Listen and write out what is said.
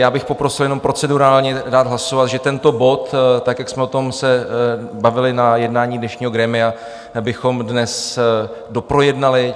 Já bych poprosil jenom procedurálně dát hlasovat, že tento bod tak, jak jsme se o tom bavili na jednání dnešního grémia, bychom dnes doprojednali.